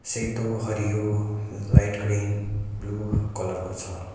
सेतो हरियो light green blue colour को छ।